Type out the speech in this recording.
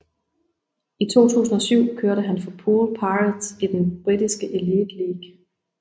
I 2007 kørte han for Poole Pirates i den britiske Elite League